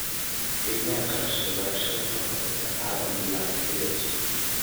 Qiimee kharashka beerashada ka hor inta aanad bilaabin xilli cusub.